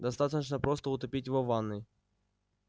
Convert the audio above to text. достаточно просто утопить его в ванной